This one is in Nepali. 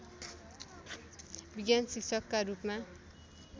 विज्ञान शिक्षकका रूपमा